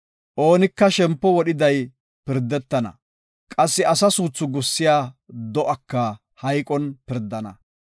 Oonika shempo wodhiday pirdetana. Qassi asa suuthi gussiya do7aka hayqon pirdana.